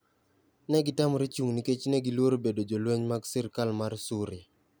Ne gitamore chung' nikech ne giluoro bedo jolweny mag sirkal mar Suria.